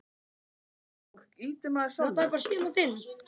Stórsigur hjá Heiðari og félögum